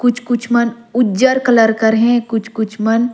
कुछ-कुछ मन उज्जर कलर कर है कुछ-कुछ मन--